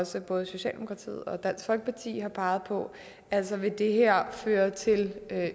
som både socialdemokratiet og dansk folkeparti har peget på altså vil det her føre til